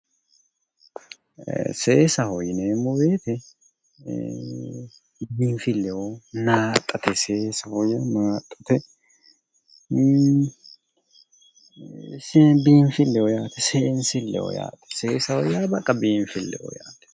Seesaho yineemmo woyiite biifilleho, naaxxate biifilleho...biinfilleho yaate seensileho yaate, seesaho yaa baqqa biinfilleho yaate.